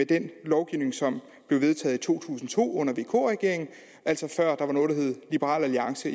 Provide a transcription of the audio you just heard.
den lovgivning som blev vedtaget i to tusind og to under vk regeringen altså før der var noget der hed liberal alliance